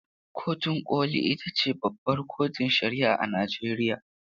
Kotun koli ita ce babbar kotun shari'a a Najeriya.